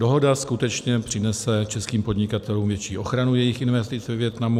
Dohoda skutečně přinese českým podnikatelům větší ochranu jejich investic ve Vietnamu.